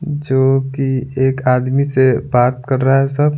जो कि एक आदमी से बात कर रहा है सब।